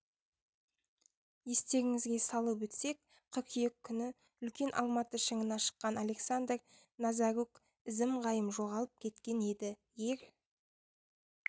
естеріңізге салып өтсек қыркүйек күні үлкен алматы шыңына шыққан александр назарук ізім-ғайым жоғалып кеткен еді ер